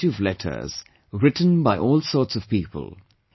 I get a variety of letters, written by all sorts of people